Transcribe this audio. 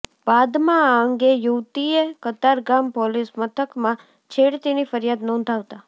બાદમાં આ અંગે યુવતીએ કતારગામ પોલીસ મથકમાં છેડતીની ફરિયાદ નોંધાવતા